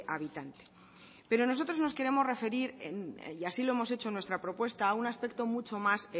habitante pero nosotros nos queremos referir y así lo hemos hecho en nuestra propuesta a un aspecto mucho más